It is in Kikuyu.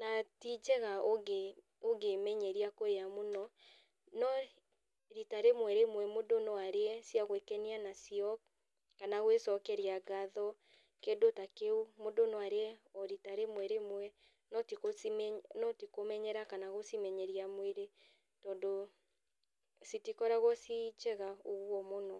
na ti njega ũngĩ ũngĩ menyeria kũrĩa mũno, no rita rĩmwe rĩmwe mũndũ no arĩe cia gwĩkenia nacio, kana gwĩcokeria ngatho kĩndĩ ta kĩu. Mũndũ no arĩe o rita rĩmwe rĩmwe, no ti kũ ti kũmenyera kana gũcimenyeria mwĩrĩ tondũ citikoragwo ciĩ njega ũguo mũno.